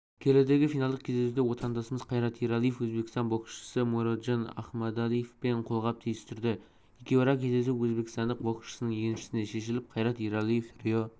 келіде финалдық кездесуде отандасымызқайрат ералиевөзбекстан боксшысымуроджон ахмадалиевпенқолғап түйістірді екеуара кездесу өзбекстандық боксшының еншісіне шешіліп қайрат ералиеврио